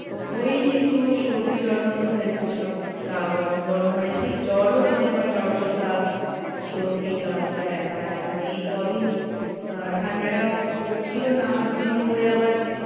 ওই একটু সর্দি জ্বর মতো হয়েছে সব গা গরম গরম মানে ঠিক জ্বর ও নয় আবার জ্বর জ্বর ভাব। সর্দি গা হাত পা ব্যাথা মানে এই কদিন আহ ঠান্ডাটা পড়ছিল না আবার দু দিন পড়ে আবার,